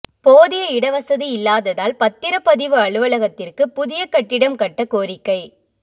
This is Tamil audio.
போதிய இடவசதி இல்லாததால் பத்திரப்பதிவு அலுவலகத்திற்கு புதிய கட்டிடம் கட்ட கோரிக்கை